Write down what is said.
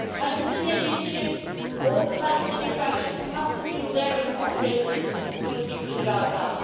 The Palestinian leadership or the Palestinian factions must assume their responsibilities for the people in Gaza.